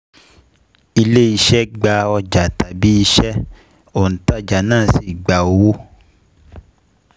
Ilé iṣẹ̀ gba ọjà tabi iṣẹ́, ontajà náà sì gba owó